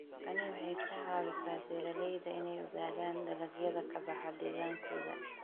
Tani waxay ka caawisaa beeralayda inay ogaadaan dalagyada ka baxa deegaankooda.